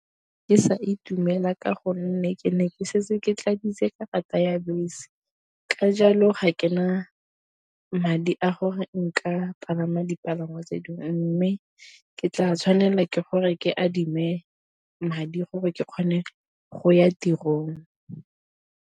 Ke sa itumela ka gonne ke ne ke setse ke tladitse karata ya bese, ka jalo ga ke na madi a gore nka palama dipalangwa tse dingwe. Mme ke tla tshwanela ke gore ke adime madi gore ke kgone go ya tirong.